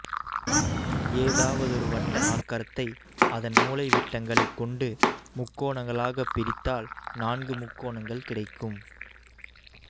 ஏதாவதொரு வட்ட நாற்கரத்தை அதன் மூலைவிட்டங்களைக் கொண்டு முக்கோணங்களாகப் பிரித்தால் நான்கு முக்கோணங்கள் கிடைக்கும்